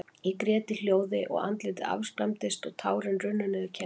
Ég grét í hljóði, og andlitið afskræmdist, og tárin runnu niður kinnarnar.